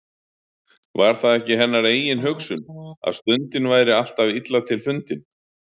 Var það ekki hennar eigin hugsun, að stundin væri alltaf illa til fundin.